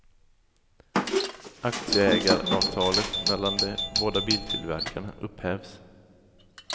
Aktieägaravtalet mellan de båda biltillverkarna upphävs.